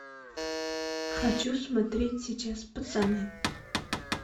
хочу смотреть сейчас пацаны